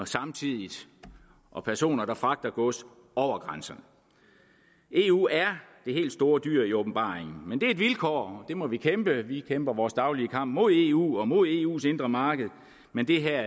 samtidig og personer fragter gods over grænserne eu er det helt store dyr i åbenbaringen men det er et vilkår det må vi bekæmpe vi kæmper vores daglige kamp mod eu og mod eus indre marked men det her